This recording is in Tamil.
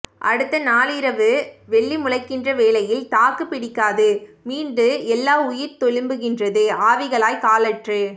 அடுத்த நாளிரவு வெள்ளி முளைக்கின்ற வேளையில் தாக்குப் பிடிக்காது மீண்டு எல்லாம் உயிர்த்தெழும்புகின்றது ஆவிகளாய் காலற்று